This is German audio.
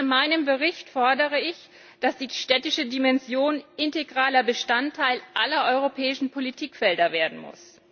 In meinem Bericht fordere ich, dass die städtische Dimension integraler Bestandteil aller europäischen Politikfelder werden muss.